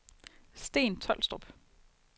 Sten Tolstrup